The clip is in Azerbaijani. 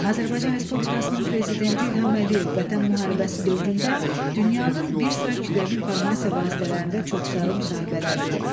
Azərbaycan Respublikasının Prezidenti İlham Əliyev Vətən müharibəsi dövründə dünyanın bir sıra kütləvi informasiya vasitələrində çoxsaylı müsahibələr verib.